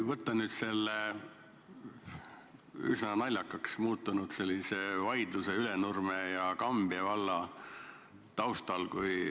Jätkan selle üsna naljakaks muutunud Ülenurme ja Kambja valla vaidluse taustal.